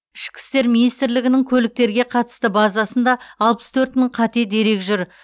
ішкі істер министрлігінің көліктерге қатысты базасында алпыс төрт мың қате дерек жүр